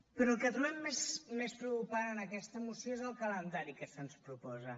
però el que trobem més preocupant en aquesta moció és el calendari que se’ns proposa